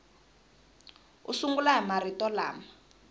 u sungula hi marito lama